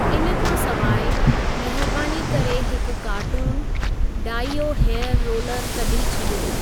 इन खां सिवाइ, महिरबानी करे हिकु कार्टुनु डाइओ हेयर रोलरु कढी छॾियो।